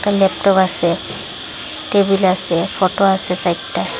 Laptop আসে table আসে photo আসে সাইরটা।